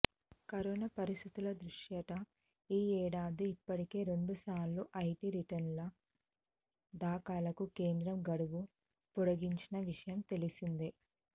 corona పరిస్థితుల దృష్ట్యా ఈ ఏడాది ఇప్పటికే రెండుసార్లు ఐటీ రిటర్నుల దాఖలకు కేంద్రం గడువు పొడగించిన విషయం తెలిసిందే